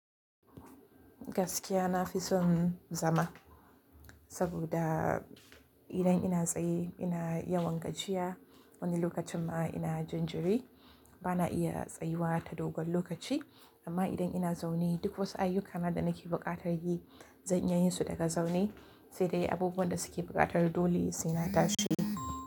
Gaskiya na fi son zama, saboda idan ina tsaye ina yawan gajiya. Wani lokacin ma ina jinjiri. Bana iya tsayuwa ta dogon lokaci, amma idan ina zaune duk wasu ayyukana da nake buƙatar yi zan iya yin su daga zaune, sai dai abubuwan da suke buƙatar dole sai na tashi.